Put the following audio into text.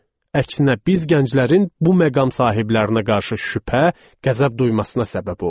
Əksinə biz gənclərin bu məqam sahiblərinə qarşı şübhə, qəzəb duymasına səbəb oldu.